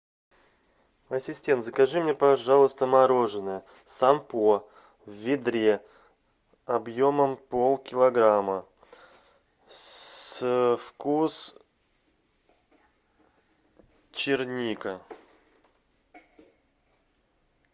ассистент закажи мне пожалуйста мороженое сам по в ведре объемом полкилограмма вкус черника